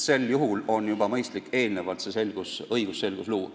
Sel juhul on mõistlik juba eelnevalt õigusselgus luua.